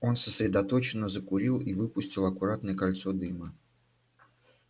он сосредоточенно закурил и выпустил аккуратное кольцо дыма